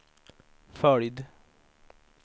följd